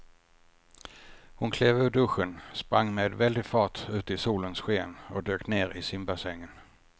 Hon klev ur duschen, sprang med väldig fart ut i solens sken och dök ner i simbassängen.